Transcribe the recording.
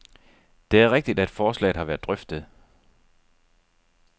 Det er rigtigt, at forslaget har været drøftet.